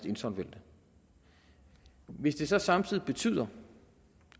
insolvente hvis det så samtidig betyder